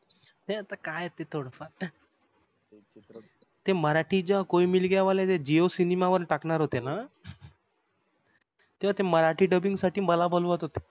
नाही आता काय ते थोडं फार ते मराठी जेंव्हा कोई मिल गया वाले जे jio cinema वर टाकणार होते तेव्हा ते मराठी dubbing साठी मला बोलवत होते